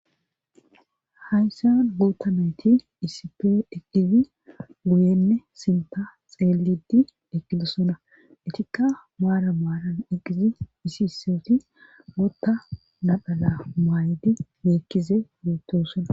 hayssa guutta nayti isipe eqqizi guyenne sinta xeelidi eqqidosona etikka maara maaran eqqizi isisooti gotta nadhala maay7di meekkize yeettosona